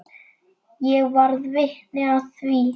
Ég varð vitni að því.